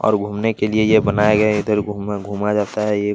और घूमने के लिए ये बनाया गया है इधर घूमर घूमा जाता है ये ----